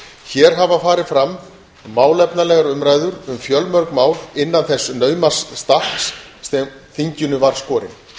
hér hafa farið fram málefnalegar umræður um fjölmörg mál innan þess nauma stakks sem þinginu var skorinn